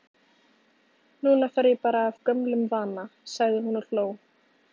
Núna fer ég bara af gömlum vana, sagði hún og hló.